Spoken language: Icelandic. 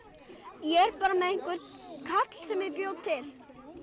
ég er bara með einhver kall sem ég bjó til